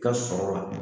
Ka sɔrɔ la